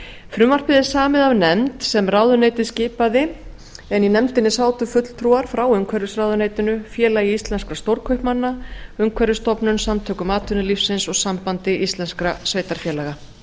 frumvarpið er samið af nefnd sem ráðuneytið skipaði en í nefndinni sátu fulltrúar frá umhverfisráðuneytinu félagi íslenskra stórkaupmanna umhverfisstofnun samtökum atvinnulífsins og sambandi íslenskra sveitarfélaga